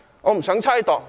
我不想猜度。